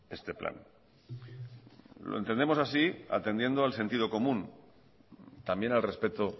este plan lo entendemos así atendiendo al sentido común también al respeto